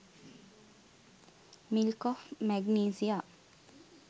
milk of magnesia